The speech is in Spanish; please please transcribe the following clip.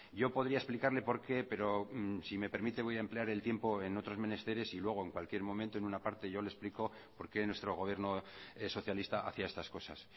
yo podría explicarle por qué pero si me permite voy a emplear el tiempo en otros menesteres y luego en cualquier momento en un aparte yo le explico por qué nuestro gobierno socialista hacía estas cosas